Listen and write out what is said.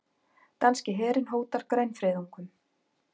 Danski herinn hótar grænfriðungum